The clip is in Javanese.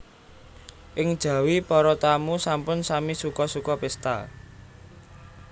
Ing jawi para tamu sampun sami suka suka pésta